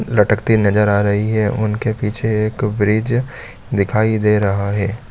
लटकते नज़र आ रही है उनके पीछे एक ब्रिज दिखाई दे रहा है।